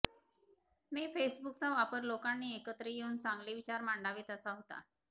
मी फेसबूकचा वापर लोकांनी एकत्र येवून चांगले विचार मांडावेत असा होता